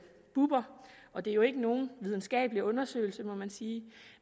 bubber og det er jo ikke nogen videnskabelig undersøgelse må man sige